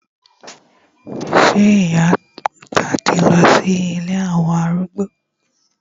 Sé ìyá àgbà ti lọ sí ilé àwọn arúgbó?